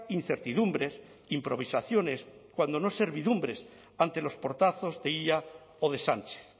incertidumbres improvisaciones cuando no servidumbres ante los portazos de illa o de sánchez